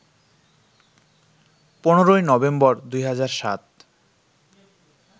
১৫ই নভেম্বর, ২০০৭